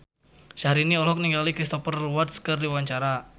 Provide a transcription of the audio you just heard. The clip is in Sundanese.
Syahrini olohok ningali Cristhoper Waltz keur diwawancara